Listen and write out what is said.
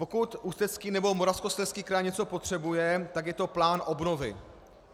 Pokud Ústecký nebo Moravskoslezský kraj něco potřebuje, tak je to plán obnovy.